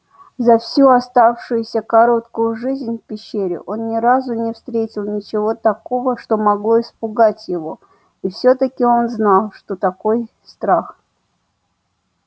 за всю оставшуюся короткую жизнь в пещере он ни разу не встретил ничего такого что могло испугать его и всё таки он знал что такой страх